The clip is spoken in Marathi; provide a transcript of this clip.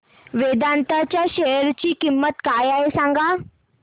वेदांत च्या शेअर ची किंमत काय आहे सांगा